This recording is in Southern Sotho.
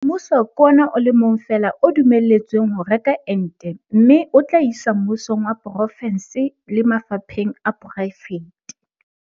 Mmuso ke ona o le mong fela o dumelletsweng ho reka ente mme o tla e isa mmusong wa porofense le mafapheng a poraefete.